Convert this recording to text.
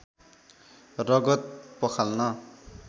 रगत पखाल्न